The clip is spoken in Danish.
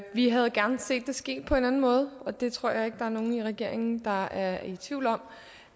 vi havde gerne set det ske på en anden måde og det tror jeg ikke der er nogen i regeringen der er i tvivl om